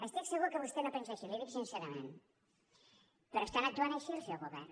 estic segur que vostè no pensa així li ho dic sincerament però estan actuant així al seu govern